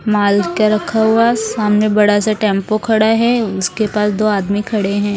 माल का रखा हुआ सामने बड़ा सा टेंपो खड़ा है उसके पास दो आदमी खड़े हैं।